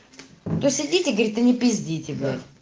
кто свидетель говорит не пиздите в